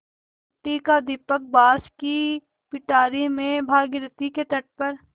मिट्टी का दीपक बाँस की पिटारी में भागीरथी के तट पर